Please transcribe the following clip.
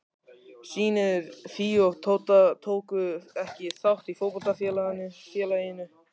Synir Fíu og Tóta tóku ekki þátt í fótboltafélaginu.